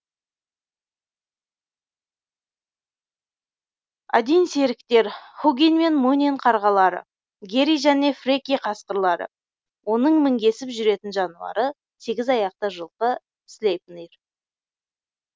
один серіктер хугин мен мунин қарғалары гери және фреки қасқырлары оның мінгесіп жүретін жануары сегіз аяқты жылқы слейпнир